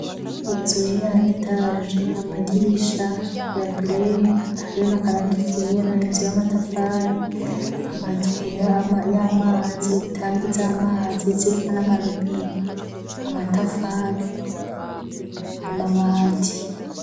Izoiri anetaje amadirisha ya bleye hariro na akaranga ikera inzu y'amatafali amatwira y'amazi itanga iza amazi siriwa n'amarubine amatafali amabati.